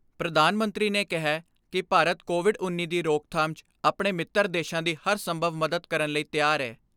ਪ੍ਰਧਾਨ ਮੰਤਰੀ ਨੇ ਕਿਹੈ ਕਿ ਭਾਰਤ, ਕੋਵਿਡ ਉੱਨੀ ਦੀ ਰੋਕਥਾਮ 'ਚ ਆਪਣੇ ਮਿੱਤਰ ਦੇਸ਼ਾਂ ਦੀ ਹਰ ਸੰਭਵ ਮਦਦ ਕਰਨ ਲਈ ਤਿਆਰ ਐ।